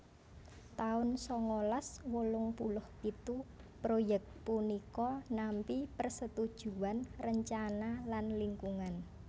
taun sangalas wolung puluh pitu proyèk punika nampi persetujuan rencana lan lingkungan